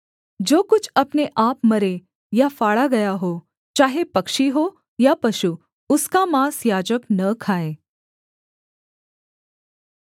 जो कुछ अपने आप मरे या फाड़ा गया हो चाहे पक्षी हो या पशु उसका माँस याजक न खाए